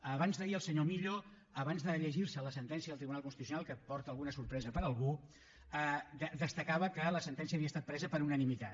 abans d’ahir el senyor millo abans de llegir se la sentència del tribunal constitucional que porta alguna sorpresa per a algú destacava que la sentència havia estat presa per unanimitat